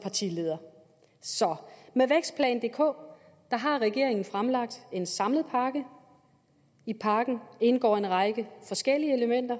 partileder så med vækstplan dk har regeringen fremlagt en samlet pakke i pakken indgår en række forskellige elementer